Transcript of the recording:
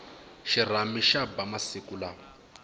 xirhami xa ba masiku lawa